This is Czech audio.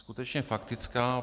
Skutečně faktická.